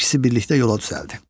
İkisi birlikdə yola düzəldi.